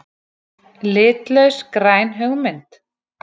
Litlaus græn hugmynd?